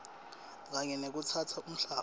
kanye nekutsatsa umhlaba